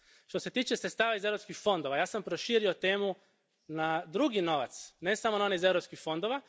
Što se tiče sredstava iz europskih fondova, ja sam proširio temu na drugi novac, ne samo na onaj iz europskih fondova.